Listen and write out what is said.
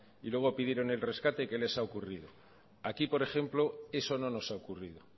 y luego pidieron en rescate qué les ha ocurrido aquí por ejemplo eso no nos ha ocurrido